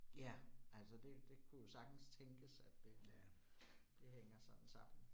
Ja, altså det det kunne jo sagtens tænkes, at det det hænger sådan sammen